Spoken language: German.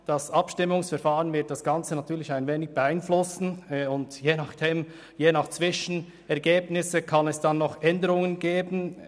Das Abstimmungsverfahren wird das Ganze natürlich beeinflussen, und je nach Zwischenergebnissen kann es noch Änderungen geben.